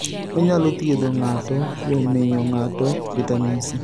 Onyalo thiedho ng'ato kuom miyo ng'ato vitamin C.